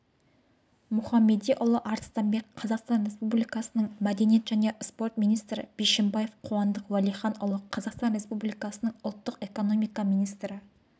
мұхамедиұлы арыстанбек қазақстан республикасының мәдениет және спорт министрі бишімбаев қуандық уәлиханұлы қазақстан республикасының ұлттық экономика министрі